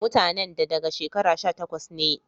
Mutanen da daga shekara sha takwas nee